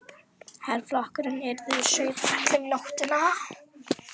Herflokkurinn yrði að Sauðafelli um nóttina.